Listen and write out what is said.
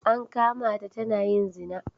An kama ta tana yin zina.